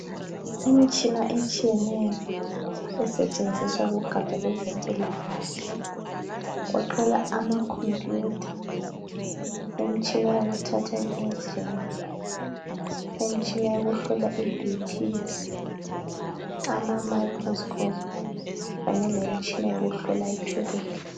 Imtshina etshiyeneyo esetshenziswa kugatsha lezempilakahle. Kugoqela amakompuyutha, imtshina yokuthatha i x-ray , imtshina yokuhlola iBP, ama microscope kanye lemitshina yokuhlola itshukela.